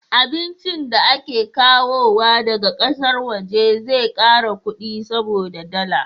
Abincin da ake kawowa daga ƙasar waje zai kara kudi saboda da dala